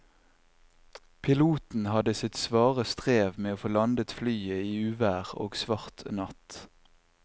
Piloten hadde sitt svare strev med å få landet flyet i uvær og svart natt.